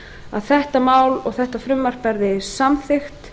að þetta mál og þetta frumvarp verði samþykkt